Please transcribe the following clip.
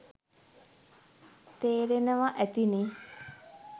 තේරෙනවා ඇතිනේ.